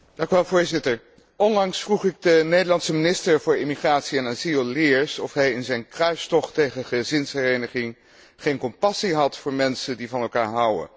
Voorzitter, onlangs vroeg ik de Nederlandse minister voor Immigratie en Asiel, de heer Leers, of hij in zijn kruistocht tegen gezinshereniging geen compassie had voor mensen die van elkaar houden.